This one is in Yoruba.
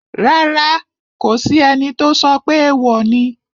Rárá, kò sí ẹni tó sọ pé èèwò ni